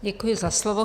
Děkuji za slovo.